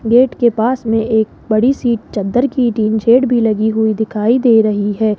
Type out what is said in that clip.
Gate के पास में एक बड़ी सी चद्दर की टीन शेड भी लगी हुई दिखाई दे रही है।